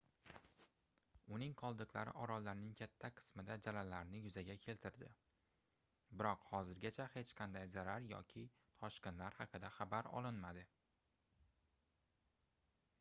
uning qoldiqlari orollarning katta qismida jalalarni yuzaga keltirdi biroq hozirgacha hech qanday zarar yoki toshqinlar haqida xabarlar olinmadi